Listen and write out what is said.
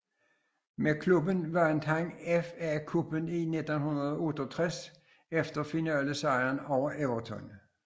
Med klubben vandt han FA Cuppen i 1968 efter finalesejr over Everton